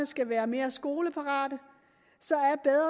skal være mere skoleparate